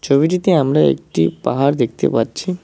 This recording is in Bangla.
ছবিটিতে আমরা একটি পাহাড় দেখতে পাচ্ছি।